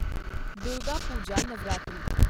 Durga Puja Navratri